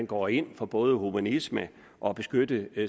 går ind for både humanisme og at beskytte